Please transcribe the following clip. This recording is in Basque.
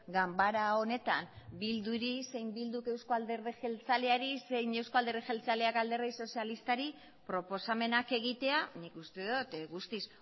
ganbara honetan bilduri zein bilduk euzko alderdi jeltzaleari zein euzko alderdi jeltzaleak alderdi sozialistari proposamenak egitea nik uste dut guztiz